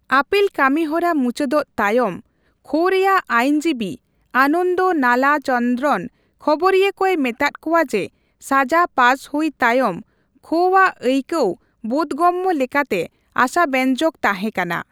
ᱟᱯᱤᱞ ᱠᱟᱹᱢᱤ ᱦᱚᱨᱟ ᱢᱩᱪᱟᱹᱫᱚᱜ ᱛᱟᱭᱚᱢ, ᱠᱷᱳ ᱨᱮᱭᱟᱜ ᱟᱭᱤᱱᱡᱤᱵᱤ ᱟᱱᱚᱱᱫᱚ ᱱᱟᱞᱟᱪᱚᱱᱫᱨᱚᱱ ᱠᱷᱚᱵᱚᱨᱤᱭᱟᱹ ᱠᱚᱭ ᱢᱮᱛᱟᱜ ᱠᱚᱣᱟ ᱡᱮ ᱥᱟᱡᱟ ᱯᱟᱥ ᱦᱩᱭ ᱛᱟᱭᱚᱢ ᱠᱷᱳ ᱟᱜ ᱟᱹᱭᱠᱟᱹᱣ ᱵᱳᱫᱷᱜᱚᱢᱢᱚ ᱞᱮᱠᱟᱛᱮ ᱟᱥᱟᱵᱮᱧᱡᱚᱠ ᱛᱟᱦᱮᱸ ᱠᱟᱱᱟ ᱾